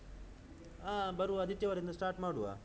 ಹ ಬರುವಾ ಆದಿತ್ಯವಾರದಿಂದ start ಮಾಡುವ.